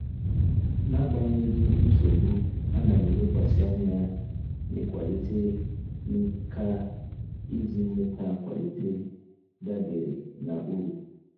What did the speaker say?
N'agbanyeghị nsogbu, ana m elekwasị anya n'ịkwalite nkà iji nweta nkwalite dabere na uru.